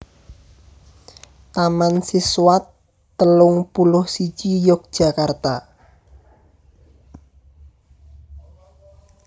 Taman Siswa telung puluh siji Yogyakarta